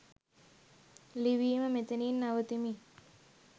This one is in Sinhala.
ලිවීම මෙතනින් නවතිමි.